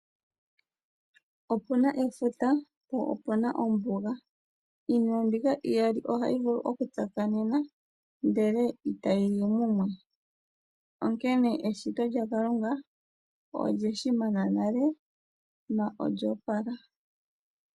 Opuna efuta po opuna ombuga, iinima mbika iyali ohayi vulu okutsakanena ndele itayi yi mumwe onene eshito lyaKalunga olyeshimana nale na olyoopala.